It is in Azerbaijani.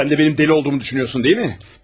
Sən də mənim dəli olduğumu düşünürsən, elə deyilmi?